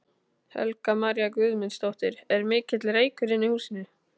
Helga María Guðmundsdóttir: Er mikill reykur inni í húsinu?